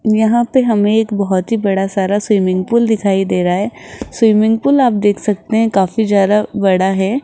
यहां पे हमें एक बहोत ही बड़ा सारा स्विमिंग पूल दिखाई दे रहा है स्विमिंग पूल आप देख सकते हैं काफी ज्यादा बड़ा है।